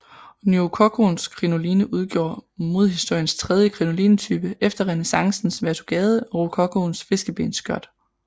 Nyrokokoens krinoline udgjorde modehistoriens tredje krinolinetype efter renæssancens vertugade og rokokoens fiskebensskørt